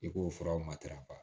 I k'o furaw matarafa